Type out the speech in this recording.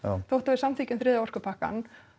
þótt að við samþykkjum þriðja orkupakkann